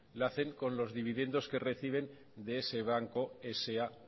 lo hacen con los dividendos que reciben de ese banco sa